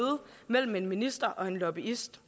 mellem en minister og en lobbyist